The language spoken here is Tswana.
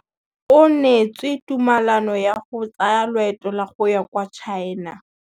O neetswe tumalanô ya go tsaya loetô la go ya kwa China.